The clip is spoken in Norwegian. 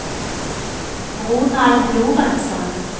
Ronald Lorentsen